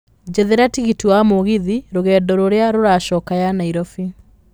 njethera tigiti wa mũgithi rũgendo rũrĩa rũracoka ya nairobi